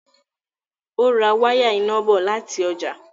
Ó ra wáyà iná bọ̀ láti ọjà.